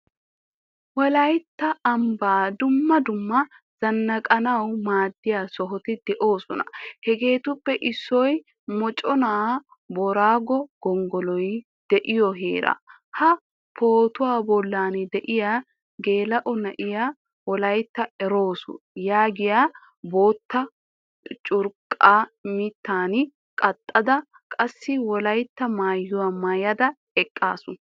Wolaytta amban dumma dumma zannaqanawu maadiya sohoti deosona. Hageetuppe issoy mochchena boorago gonggoloy deiyo heeraa. Ha pootuwaa bollan deiyaa geelao na"iyaa "wolaytta eroos." yaagiyaa bootta curqqa miittan kaqqada qassi wolaytta maayuwaa maayada eqqasu.